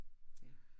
Ja